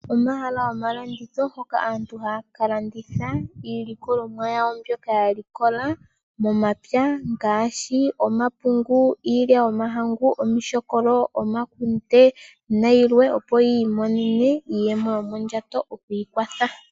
Omahala goma landitho hoka aantu haya ka landitha iilikolomwa yawo mbyoka ya likola momapya ngashi omapungu, iilya yomahangu, omishokolo, omakundena yilwe, opo yiimonene iiyemo yomondjato yokwiikwatha.